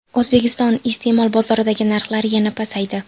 O‘zbekiston iste’mol bozoridagi narxlar yana pasaydi.